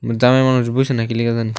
জামাই মানুষ বসে ।